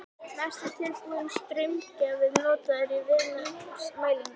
Mest er tilbúinn straumgjafi notaður í viðnámsmælingum.